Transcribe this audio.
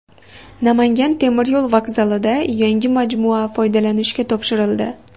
Namangan temiryo‘l vokzalida yangi majmua foydalanishga topshirildi.